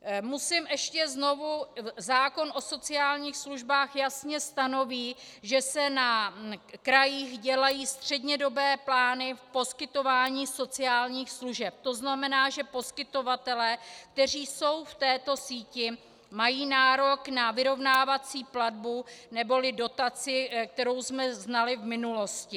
Zákon o sociálních službách jasně stanoví, že se na krajích dělají střednědobé plány v poskytování sociálních služeb, to znamená, že poskytovatelé, kteří jsou v této síti, mají nárok na vyrovnávací platbu neboli dotaci, kterou jsme znali v minulosti.